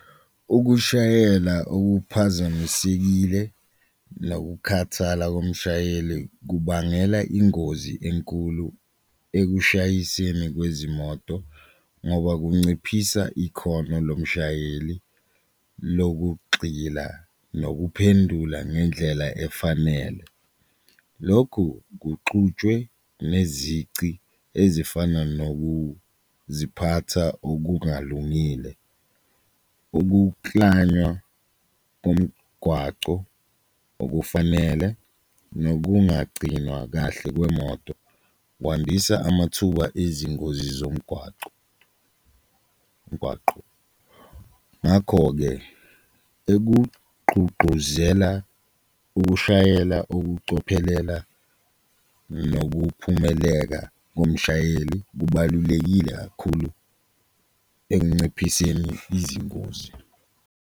Ukushayela okuphazamisekile nokukhathala komshayeli kubangela ingozi enkulu ekushayiseni kwezimoto ngoba kunciphisa ikhono lomshayeli lokugxila nokuphendula ngendlela efanele, lokhu kuxutshwe nezici ezifana nokuziphatha okungalungile ukuklanywa komgwaco okufanele, nokungagcinwa kahle kwemoto kwandisa amathuba ezingozi zomgwaco umgwaqo. Ngakho-ke ekugqugquzela ukushayela, ukucophelela nokuphumeleka komshayeli kubalulekile kakhulu ekunciphiseni izingozi.